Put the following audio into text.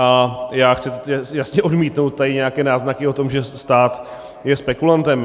A já chci jasně odmítnout tady nějaké náznaky o tom, že stát je spekulantem.